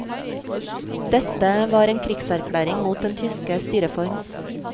Dette var en krigserklæring mot den tyske styreform.